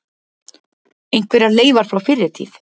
Einhverjar leifar frá fyrri tíð.